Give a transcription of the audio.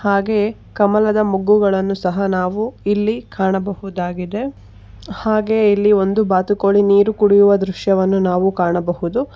ಹಾಗೆ ಕಮಲದ ಮೊಗ್ಗುಗಳನ್ನು ಸಹ ನಾವು ಇಲ್ಲಿ ಕಾಣಬಹುದಾಗಿದೆ ಹಾಗೆ ಇಲ್ಲಿ ಒಂದು ಬಾತುಕೋಳಿ ನೀರು ಕುಡಿಯುವ ದೃಶ್ಯ ನಾವು ಕಾಣಬಹುದು.